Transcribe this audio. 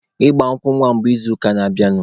Ịgba nkwụ nwa mụ bụ n'izuụka na-abịanụ.